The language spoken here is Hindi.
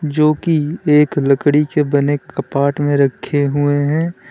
जो की एक लकड़ी के बने कपाट में रखे हुए हैं।